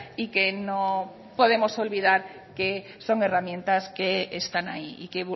y que no podemos olvidar que son herramientas que están ahí y que